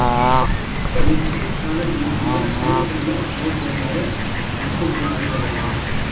Birinchi salib yurishida ritsarlar ordenlari muhim rol o‘ynagan edi.